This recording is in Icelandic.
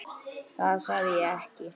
Það sagði ég ekki